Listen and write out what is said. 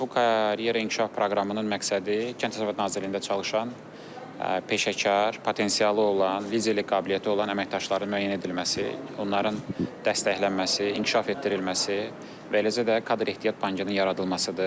Bu karyera inkişaf proqramının məqsədi kənd təsərrüfatı nazirliyində çalışan peşəkar, potensialı olan, liderlik qabiliyyəti olan əməkdaşların müəyyən edilməsi, onların dəstəklənməsi, inkişaf etdirilməsi və eləcə də kadr ehtiyat bankının yaradılmasıdır.